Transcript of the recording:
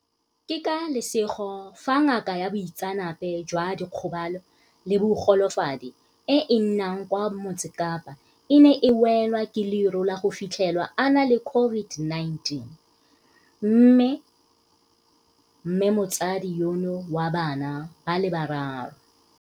Ke ka lesego fa ngaka ya boitseanape jwa dikgobalo le bogolofadi e e nnang kwa Motsekapa e ne e welwa ke leru la go fitlhelwa a na le COVID-19, mme mmemotsadi yono wa bana ba le bararo.